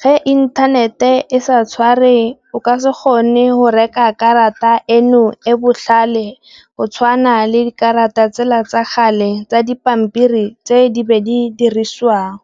ge inthanete e sa tshware o ka se gone go reka karata eno e botlhale go tshwana le dikarata tsela tsa gale tsa dipampiri tse di be di dirisiwang.